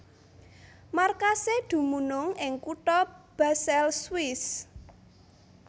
Markasé dumunung ing kutha Basel Swiss